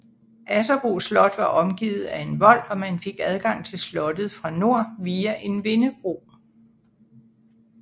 Asserbo slot var omgivet af en vold og man fik adgang til slottet fra nord via en vindebro